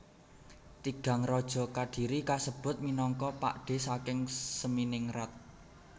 Tigang raja Kadiri kasebut minangka pakdhe saking Seminingrat